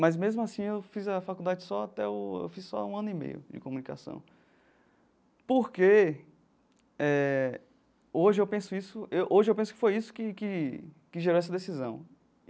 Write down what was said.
Mas, mesmo assim, eu fiz a faculdade só até o eu fiz só um ano e meio de comunicação, porque eh hoje eu penso isso eu hoje eu penso que foi isso que que que gerou essa decisão.